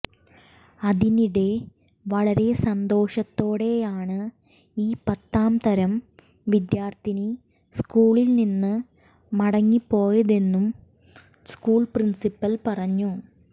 അതിനിടെ വളരെ സന്തോഷത്തോടെയാണ് ഈ പത്താം തരം വിദ്യാർത്ഥിനി സ്ക്കൂളിൽ നിന്നും മടങ്ങി പോയതെന്ന് സ്ക്കൂൾ പ്രിൻസിപ്പൽ പറഞ്ഞു